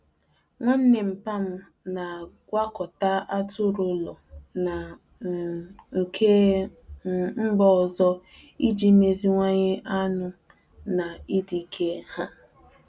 Nwanne nmpa'm na-agwakọta atụrụ ụlọ na um nke um mba ọzọ iji meziwanye anụ na ịdị ike ha.